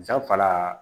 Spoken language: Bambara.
Sanfara